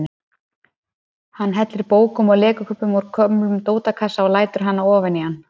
Hann hellir bókum og legokubbum úr gömlum dótakassa og lætur hana ofan í hann.